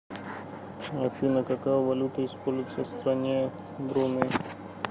афина какая валюта используется в стране бруней